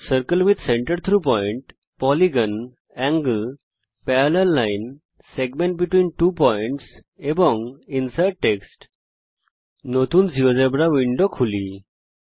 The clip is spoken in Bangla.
circle with centre through point polygon angle parallel line segment between two points and insert text নতুন জীয়োজেব্রা উইন্ডোতে যাওয়া যাক